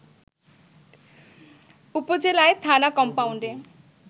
উপজেলায় থানা কমপাউন্ডে